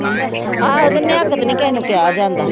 ਆਹੋ ਤੇ ਤੇ ਨੀ ਕਿਸੇ ਨੂੰ ਕਿਹਾ ਜਾਂਦਾ।